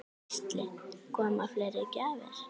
Gísli: Koma fleiri gjafir?